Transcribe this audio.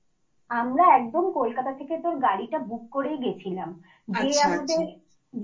আমরা একদম কোলকাতা থেকে গাড়িটা বুক করেই গেছিলাম।